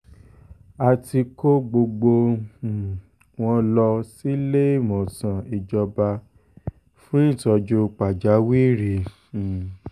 a ti kó gbogbo um wọn lọ síléemọ̀sán ìjọba fún ìtọ́jú pàjáwìrì um